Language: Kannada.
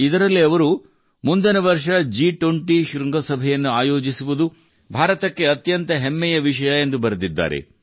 ಇದರಲ್ಲಿ ಅವರು ಮುಂದಿನ ವರ್ಷ ಜಿ20 ಶೃಂಗಸಭೆಯನ್ನು ಆಯೋಜಿಸುವುದು ಭಾರತಕ್ಕೆ ಅತ್ಯಂತ ಹೆಮ್ಮೆಯ ವಿಷಯ ಎಂದು ಬರೆದಿದ್ದಾರೆ